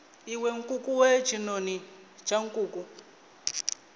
iwe nkukuwe tshinoni tsha nkuku